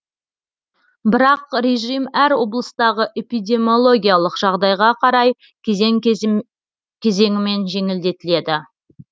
бірақ режим әр облыстағы эпидемиологиялық жағдайға қарай кезең кезеңімен жеңілдетіледі